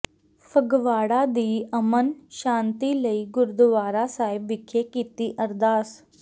ਫਗਵਾੜਾ ਦੀ ਅਮਨ ਸ਼ਾਂਤੀ ਲਈ ਗੁਰਦੁਆਰਾ ਸਾਹਿਬ ਵਿਖੇ ਕੀਤੀ ਅਰਦਾਸ